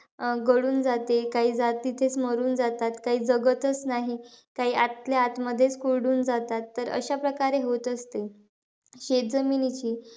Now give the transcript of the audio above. अं गळून जाते, काही तिथेच मरून जातात, काही जगतचं नाही. काही आतल्याआत मधेचं खुर्डून जातात. तर अशा प्रकारे होत असते. शेतजमिनीची,